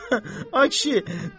Ay kişi, doğrudur?